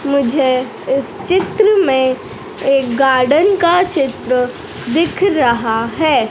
मुझे इस चित्र में एक गार्डन का चित्र दिख रहा है।